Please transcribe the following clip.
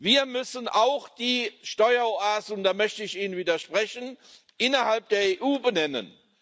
Wir müssen auch die Steueroasen und da möchte ich Ihnen widersprechen innerhalb der EU benennen.